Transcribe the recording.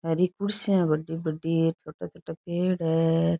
हरी कुर्सियां बड़ी बड़ी है छोटा छोटा पेड़ है।